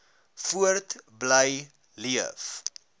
voort bly leef